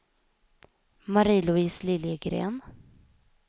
Marie-Louise Liljegren